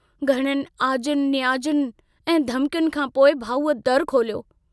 घणनि आजुयुनि नियाजुनि ऐं धमकियुनि खां पोइ भाऊअ दरु खोलियो।